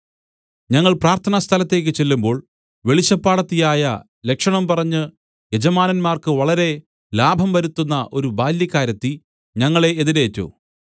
ഞങ്ങൾ പ്രാർത്ഥനാ സ്ഥലത്തേക്ക് ചെല്ലുമ്പോൾ വെളിച്ചപ്പാടത്തിയായി ലക്ഷണം പറഞ്ഞ് യജമാനന്മാർക്ക് വളരെ ലാഭം വരുത്തുന്ന ഒരു ബാല്യക്കാരത്തി ഞങ്ങളെ എതിരേറ്റു